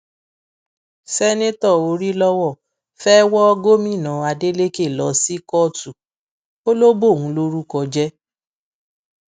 seneto òrìlọwọ fẹẹ wọ gómìnà adeleke lọ sí kóòtù ó lọ bóun lórúkọ jẹ